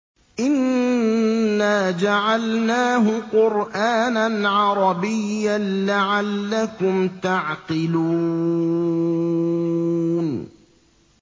إِنَّا جَعَلْنَاهُ قُرْآنًا عَرَبِيًّا لَّعَلَّكُمْ تَعْقِلُونَ